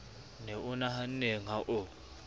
ne o nahanneng ha o